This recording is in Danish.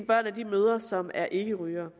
børn af de mødre som er ikkerygere